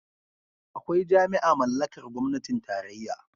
Akwai jami'a mallakar gwamnatin tarayya.